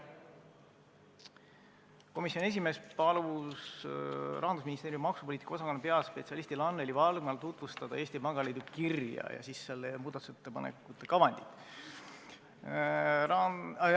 Komisjoni esimees palus Rahandusministeeriumi maksupoliitika osakonna peaspetsialistil Anneli Valgmal tutvustada Eesti Pangaliidu kirja ja selle muudatusettepaneku kavandit.